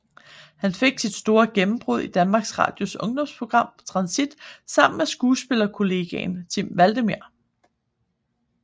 Han fik sit store gennembrud i Danmarks Radios ungdomsprogram Transit sammen med skuespillerkollegaen Timm Vladimir